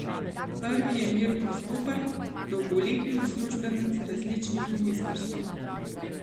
Prvi je Mirko Stopar, dolgoletni uslužbenec različnih ministrstev.